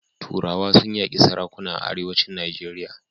Turawa sun yaƙi sarakuna a Arewacin Najeriya.